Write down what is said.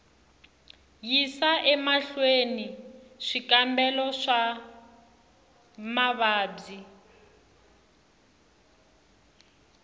yisa emahlweni swikambelo swa mavabyi